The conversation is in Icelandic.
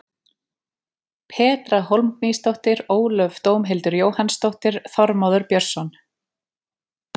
Petra Hólmgrímsdóttir Ólöf Dómhildur Jóhannsdóttir Þormóður Björnsson